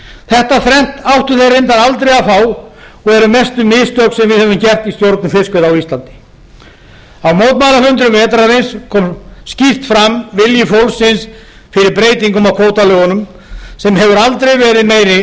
þetta þrennt áttu þeir reyndar aldrei að fá og eru mestu mistök sem við höfum gert í stjórn fiskveiða á íslandi í mótmælafundum vetrarins kom skýrt fram vilji fólksins fyrir breytingum á kvótalögunum sem hefur aldrei verið meiri